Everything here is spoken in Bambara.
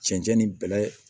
Cɛncɛn ni bɛlɛ